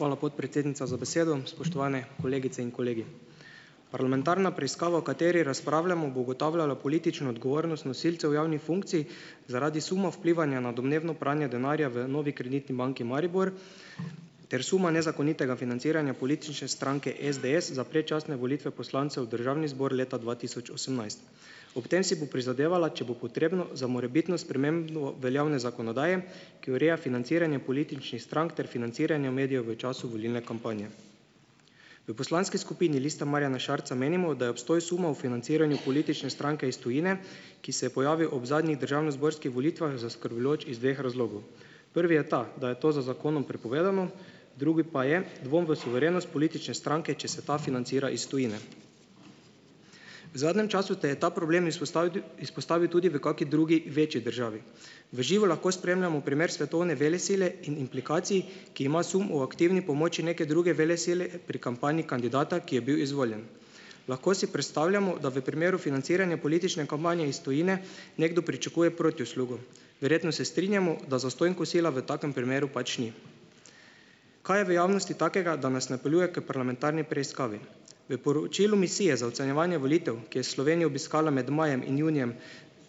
Hvala, podpredsednica, za besedo. Spoštovani kolegice in kolegi! Parlamentarna preiskava, o kateri razpravljamo bo ugotavljala politično odgovornost nosilcev javnih funkcij zaradi suma vplivanja na domnevno pranje denarja v Novi Kreditni banki Maribor ter suma nezakonitega financiranja politične stranke SDS za predčasne volitve poslancev v državni zbor leta dva tisoč osemnajst. Ob tem si bo prizadevala, če bo potrebno, za morebitno spremembo veljavne zakonodaje, ki ureja financiranje političnih strank ter financiranje v medijev v času volilne kampanje. V poslanski skupini Lista Marjana Šarca menimo, da je obstoj suma o financiranju politične stranke iz tujine, ki se je pojavil ob zadnjih državnozborskih volitvah zaskrbljujoč iz dveh razlogov. Prvi je ta, da je to z zakonom prepovedano. Drugi pa je, dvom v suverenost politične stranke, če se ta financira iz tujine. V zadnjem času te je ta problem izpostavil izpostavil tudi v kaki drugi večji državi. V živo lahko spremljamo primer svetovne velesile in implikacij, ki ima sum o aktivni pomoči neke druge velesile pri kampanji kandidata, ki je bil izvoljen. Lahko si predstavljamo, da v primeru financiranja politične kampanje iz tujine nekdo pričakuje protiuslugo. Verjetno se strinjamo, da zastonj kosila v takem primeru pač ni. Kaj je v javnosti takega, da nas napeljuje k parlamentarni preiskavi? V poročilu misije za ocenjevanje volitev, ki je Slovenijo obiskala med majem in junijem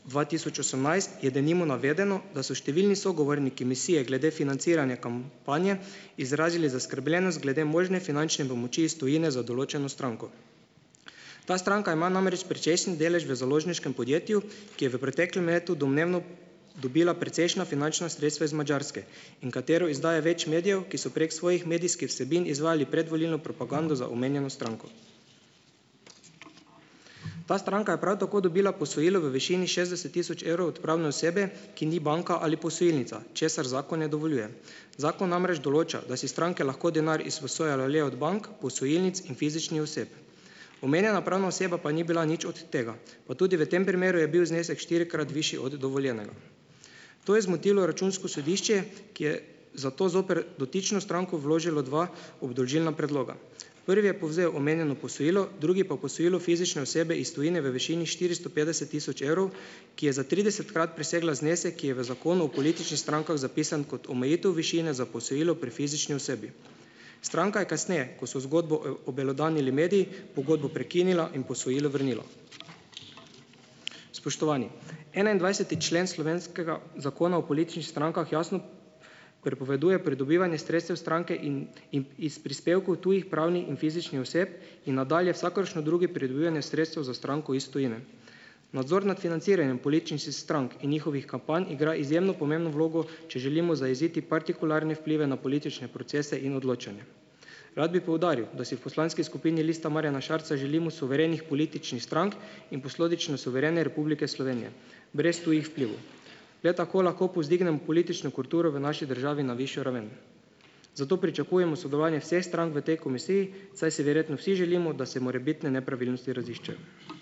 dva tisoč osemnajst, je denimo navedeno, da so številni sogovorniki misije glede financiranja kampanje izrazili zaskrbljenost glede možne finančne pomoči iz tujine za določeno stranko. Ta stranka ima namreč precejšen delež v založniškem podjetju, ki je v preteklem letu domnevno dobila precejšna finančna sredstva iz Madžarske in katero izdaja več medijev, ki so prek svojih medijskih vsebin izvajali predvolilno propagando za omenjeno stranko. Ta stranka je prav tako dobila posojilo v višini šestdeset tisoč evrov od pravne osebe, ki ni banka ali posojilnica, česar zakon ne dovoljuje. Zakon namreč določa, da si stranke lahko denar izposojajo le od bank, posojilnic in fizičnih oseb. Omenjena pravna oseba pa ni bila nič od tega pa tudi v tem primeru je bil znesek štirikrat višji od dovoljenega. To je zmotilo računsko sodišče, ki je zato zoper dotično stranko vložilo dva obdolžilna predloga. Prvi je povzel omenjeno posojilo, drugi pa posojilo fizične osebe iz tujine v višini štiristo petdeset tisoč evrov, ki je za tridesetkrat presegla znesek, ki je v Zakonu o političnih strankah zapisan kot omejitev višine za posojilo pri fizični osebi. Stranka je kasneje, ko so zgodbo obelodanili mediji, pogodbo prekinila in posojilo vrnila. Spoštovani! enaindvajseti člen slovenskega Zakona o političnih strankah jasno prepoveduje pridobivanje sredstev stranke in in iz prispevkov tujih, pravnih in fizičnih oseb in nadalje vsakršno drugo pridobivanje sredstev za stranko iz tujine. Nadzor nad financiranjem političnih strank in njihovih kampanj igra izjemno pomembno vlogo, če želimo zajeziti partikularne vplive na politične procese in odločanja. Rad bi poudaril, da si v poslanski skupini Lista Marjana Šarca želimo suverenih političnih strank in posledično suverene Republike Slovenije brez tujih vplivov. Le tako lahko povzdignemo politično kulturo v naši državi na višjo raven, zato pričakujemo sodelovanje vseh strank v tej komisiji, saj si verjetno vsi želimo, da se morebitne nepravilnosti raziščejo.